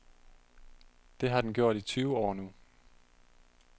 Det har den gjort i tyve år nu.